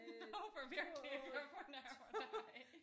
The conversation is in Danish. Jeg håber virkelig ikke jeg fornærmer dig